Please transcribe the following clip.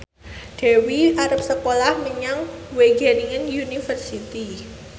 Dewi arep sekolah menyang Wageningen University